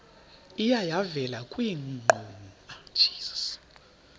iye yavela kwiinkqubo